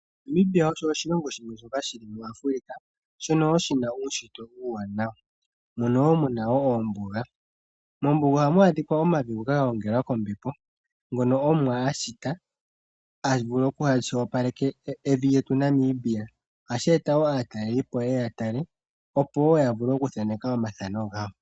Namibia osho oshilongo shimwe shoka shi li muAfrika, shono wo shi na uunshitwe uuwanawa, mono wo mu na ombuga. Mombuga ohamu adhika omavi ngoka ga gongelwa kombepo, ngono Omuwa a shita, a vule a opaleke evi lyetu Namibia. Ohashi eta wo aatalelipo ye ye ya tale, opo wo ya vule okuthaneka omathano gawo.